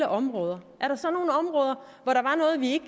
områder hvor der var noget vi